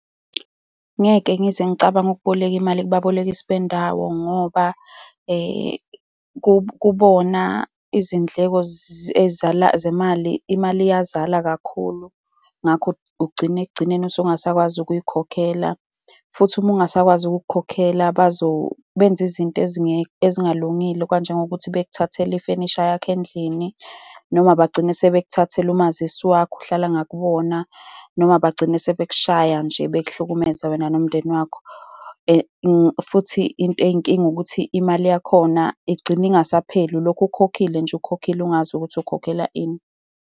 Ngeke ngize ngicabange ukuboleka imali kubabolekisi bendawo ngoba kubona izindleko ezizala zemali, imali iyazala kakhulu. Ngakho ugcine ekugcineni usungasakwazi ukuzikhokhela. Futhi uma ungasakwazi ukukukhokhela bazo benza izinto ezingalungile, kanjengokuthi bekuthathela ifenisha yakho endlini, noma bagcine sebekuthathele umazisi wakho, uhlala ngakubona, noma bagcine sebekushaya nje, bekuhlukumeze wena nomndeni wakho. Futhi into eyinkinga ukuthi imali yakhona igcine ingasapheli. Ulokhu ukhokhile nje, ukhokhile, ungazi ukuthi ukhokhela ini.